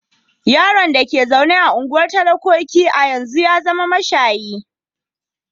Yaron da ke zaune a unguwar talakoki a yanzu ya zama mashayi.